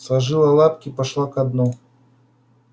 сложила лапки и пошла ко дну